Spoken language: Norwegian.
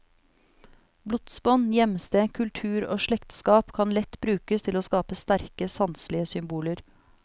Blodsbånd, hjemsted, kultur og slektskap kan lett brukes til å skape sterke sanselige symboler.